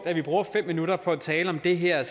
at vi bruger fem minutter på at tale om det her